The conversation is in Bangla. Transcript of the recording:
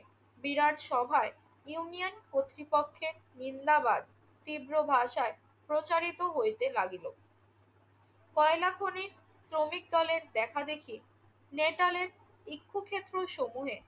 বিরাট সভায় ইউনিয়ন কর্তৃপক্ষের নিন্দাবাদ তীব্র ভাষায় প্রচারিত হইতে লাগিল। কয়লা খনির শ্রমিক দলের দেখাদেখি নেটালের ইক্ষুক্ষেত্রসমূহে